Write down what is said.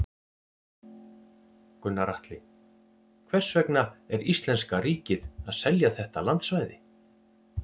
Gunnar Atli: Hvers vegna er íslenska ríkið að selja þetta landsvæði?